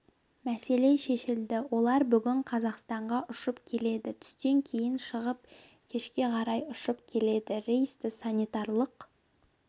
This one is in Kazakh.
мәселе шешілді олар бүгін қазақстанға ұшып келеді түстен кейін шығып кешке қарай ұшып келеді рейсті санитарлық